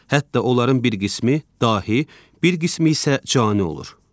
Hətta onların bir qismi dahi, bir qismi isə cani olur.